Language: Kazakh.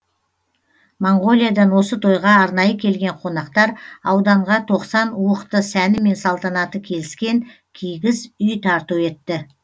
моңғолиядан осы тойға арнайы келген қонақтар ауданға тоқсан уықты сәні мен салтанаты келіскен кигіз үй тарту етті